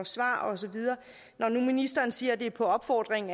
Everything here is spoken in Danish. svar og så videre når nu ministeren siger at det er på opfordring